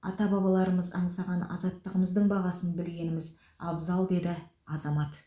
ата бабаларымыз аңсаған азаттығымыздың бағасын білгеніміз абзал деді азамат